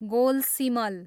गोलसिमल